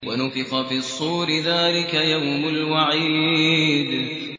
وَنُفِخَ فِي الصُّورِ ۚ ذَٰلِكَ يَوْمُ الْوَعِيدِ